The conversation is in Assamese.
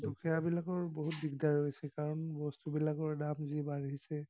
দুখীয়াবিলাকৰ বহুত দিগদাৰ হৈছে কাৰণ বস্তুবিলাকৰ দাম যি বাঢ়িছে।